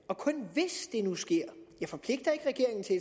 i nu sker jeg forpligter ikke regeringen til